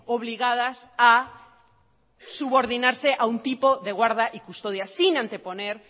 obligadas a subordinarse a un tipo de guarda y custodia sin anteponer